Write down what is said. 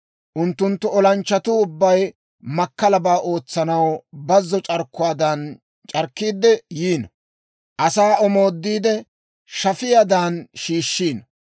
Unttunttu olanchchatuu ubbay makkalaabaa ootsanaw bazzo c'arkkuwaadan c'arkkiide yiino. Asaa omoodiide, shafiyaadan shiishshiino.